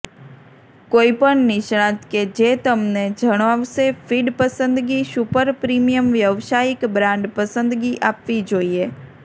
કોઈપણ નિષ્ણાત કે જે તમને જણાવશે ફીડ પસંદગી સુપર પ્રીમિયમ વ્યાવસાયિક બ્રાન્ડ પસંદગી આપવી જોઈએ